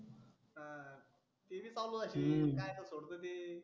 ते बी चालु असेल कायचं सोडतं ते.